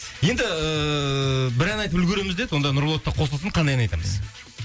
енді ііі бір ән айтып үлгереміз деді онда нұрболатта қосылсын қандай ән айтамыз